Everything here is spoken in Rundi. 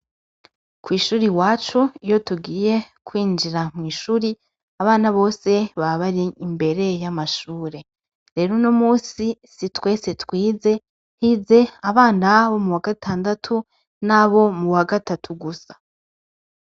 Kwishur'iwacu, iyotugiye kwinjira kwishure, abana bose baba bar'imbere y'amashure. Rero unomunsi si twese twize, hiz'abana bo muwa gatandatu nabo muwa gatatu gusa